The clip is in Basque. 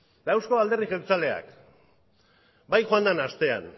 eta eusko alderdi jeltzaleak bai joan den astean